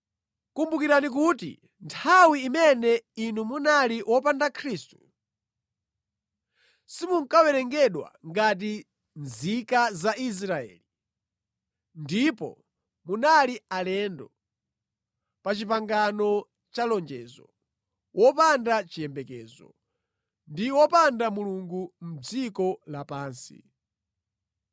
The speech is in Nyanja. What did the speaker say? Kumbukirani kuti nthawi imene inu munali wopanda Khristu, simunkawerengedwa ngati nzika za Israeli ndipo munali alendo pa pangano la lonjezo, wopanda chiyembekezo ndi opanda Mulungu mʼdziko lapansi.